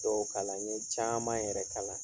Dɔw kalan, n ye caman yɛrɛ kalan.